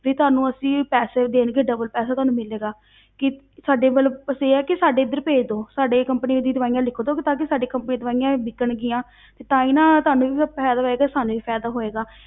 ਤੇ ਤੁਹਾਨੂੰ ਅਸੀਂ ਪੈਸੇ ਦੇਣਗੇ double ਪੈਸਾ ਤੁਹਾਨੂੰ ਮਿਲੇਗਾ ਕਿ ਸਾਡੇ ਵੱਲ ਬਸ ਇਹ ਆ ਕਿ ਸਾਡੇ ਇੱਧਰ ਭੇਜ ਦਓ, ਸਾਡੇ company ਦੀਆਂ ਲਿਖ ਦਓ ਕਿ ਤਾਂ ਕਿ ਸਾਡੇ company ਦੀਆਂ ਦਵਾਈਆਂ ਵਿਕਣਗੀਆਂ ਤੇ ਤਾਂ ਹੀ ਨਾ ਤੁਹਾਨੂੰ ਵੀ ਫਿਰ ਫ਼ਾਇਦਾ ਹੋਏਗਾ, ਸਾਨੂੰ ਵੀ ਫ਼ਾਇਦਾ ਹੋਏਗਾ